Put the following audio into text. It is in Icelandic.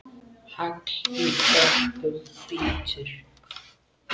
Hagl í hörkum bítur.